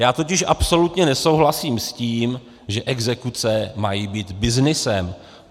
Já totiž absolutně nesouhlasím s tím, že exekuce mají být byznysem.